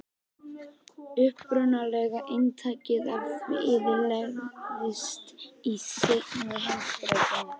Upprunalega eintakið af því eyðilagðist í seinni heimsstyrjöldinni.